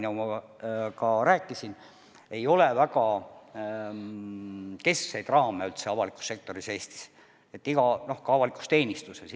Nagu ma rääkisin, Eestis ei ole üldse avalikus sektoris, ka avalikus teenistuses väga kindlaid raame.